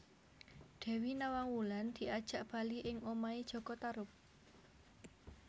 Dewi Nawang Wulan diajak bali ing omahé jaka Tarub